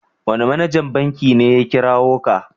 Wane manajan banki ne ya kirawo ka?